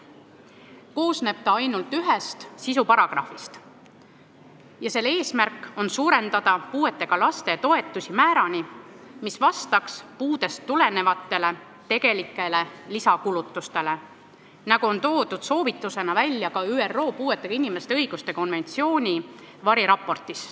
Ta koosneb ainult ühest sisuparagrahvist ja selle eesmärk on suurendada puudega laste toetusi määrani, mis vastaks puudest tulenevatele tegelikele lisakulutustele, nagu on toodud soovitusena välja ka ÜRO puuetega inimeste õiguste konventsiooni variraportis.